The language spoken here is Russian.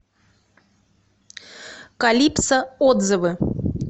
калипсо отзывы